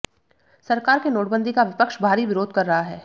सरकार के नोटबंदी का विपक्ष भारी विरोध कर रहा है